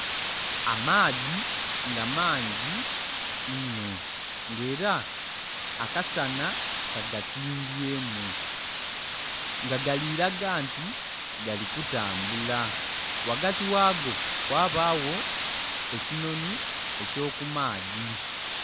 Amaadhi nga mangi inho nga era akasana kagatimbyemu nga galiraga nti galikutambula ghagati ghago ghabagho ekinhoni ekyo kumaadhi.